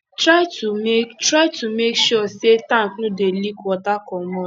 try to make try to make sure sey tank no dey leak water comot